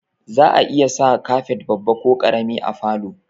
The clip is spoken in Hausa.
Za'a iya sa kafet babba ko ƙarami a falo